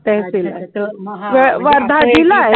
तहसील आहे हा वर्धा जिल्हा आहे